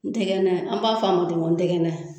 N tɛgɛna an b'a f'a ma ten n tɛgɛna.